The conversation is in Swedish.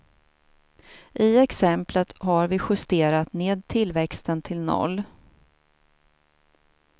I exemplet har vi justerat ned tillväxten till noll.